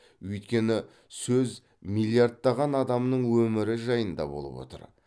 өйткені сөз миллиардтаған адамның өмірі жайында болып отыр